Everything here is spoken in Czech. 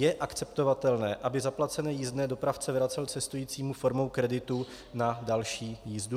Je akceptovatelné, aby zaplacené jízdné dopravce vracel cestujícímu formou kreditu na další jízdu?